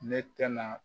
Ne tɛna